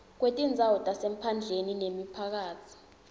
kwetindzawo tasemaphandleni nemiphakatsi